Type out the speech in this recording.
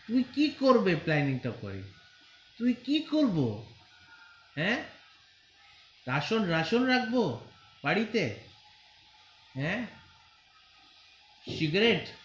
তুই কি করবে planning তা হয়ে তুই কি করবো হ্যা রাসন রাসন রাখবো বাড়িতে হ্যা cigarette.